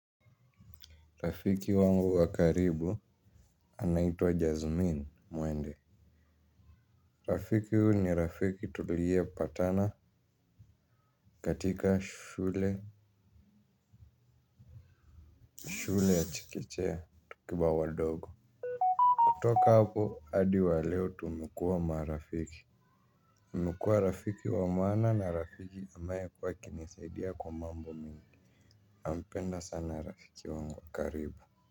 Rafiki wangu wa karibu anaitwa jasmine mwende. Rafiki huu ni rafiki tulie patana katika shule. Shule ya chekechea tukiwa wadogo. Kutoka hapo hadi wa leo tumekuwa marafiki amekuwa. Rafiki wa maana na rafiki ambaye amekuwa akinisaidia kwa mambo mingi nampenda sana rafiki wangu wakaribu.